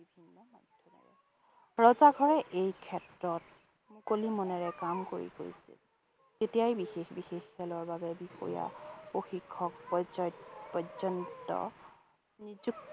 ৰজা ঘৰে এই ক্ষেত্ৰত মুকলি মনেৰে কাম কৰি গৈছিল। তেতিয়াই বিশেষ বিশেষ খেলৰ বাবে বিষয়া, প্ৰশিক্ষক পৰ্যয় পৰ্যন্ত নিযুক্তি